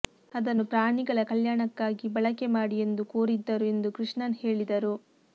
ಅದನ್ನು ಪ್ರಾಣಿಗಳ ಕಲ್ಯಾಣಕ್ಕಾಗಿ ಬಳಕೆ ಮಾಡಿ ಎಂದು ಕೋರಿದ್ದರು ಎಂದು ಕೃಷ್ಣನ್ ಹೇಳಿದರು